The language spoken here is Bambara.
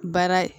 Baara